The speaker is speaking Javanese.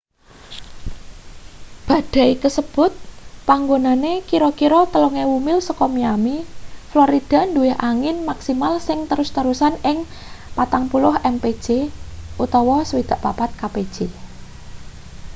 badai kasebut panggonane kira-kira 3.000 mil saka miami florida duwe angin maksimal sing terus-terusan ing 40 mpj 64 kpj